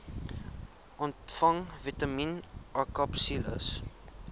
ontvang vitamien akapsules